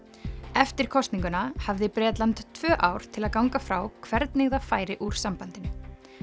eftir kosninguna hafði Bretland tvö ár til að ganga frá hvernig það færi úr sambandinu